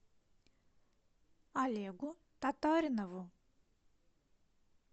олегу татаринову